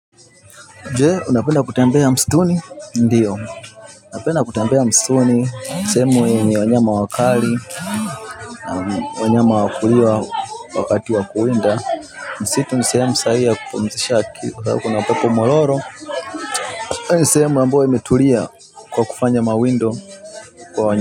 Je unapenda kutembea mstuni ndiyo napenda kutembea mstuni ni sehemu yenye wanyama wakali wanyama wakuliwa wakati wakuwinda msitu ni sehemu sahihi ya kupumzisha kwa kuna upepo mwororo ni sehemu ambayo imetulia kwa kufanya mawindo kwa wanya.